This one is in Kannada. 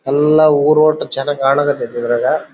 ಎಲ್ಲ ಊರೊಟ್ಟು ಚೆನ್ನಾಗಿ ಕಾಣಾಕ್ ಹತ್ತಿದೆ ಇದ್ರಾಗ .